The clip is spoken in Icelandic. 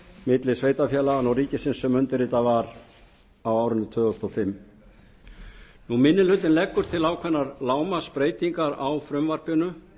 milli sveitarfélaganna og ríkisins sem undirritað var á árinu tvö þúsund og fimm minni hlutinn leggur til ákveðnar lágmarksbreytingar á frumvarpinu